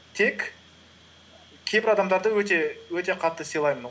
тек кейбір адамдарды өте қатты сыйлаймын